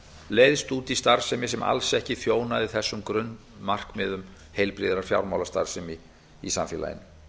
leiðst út í starfsemi sem alls ekki þjónaði þessum grunnmarkmiðum heilbrigðrar fjármálastarfsemi í samfélaginu